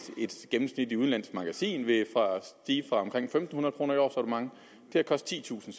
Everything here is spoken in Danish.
gennemsnitligt udenlandsk magasin vil stige fra omkring fem hundrede kroner i årsabonnement til at koste titusind